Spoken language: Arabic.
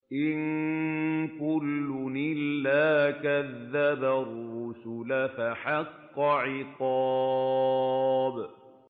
إِن كُلٌّ إِلَّا كَذَّبَ الرُّسُلَ فَحَقَّ عِقَابِ